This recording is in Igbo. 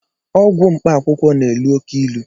Ọgwụ mkpaakwụkwọ na-elu óké ilu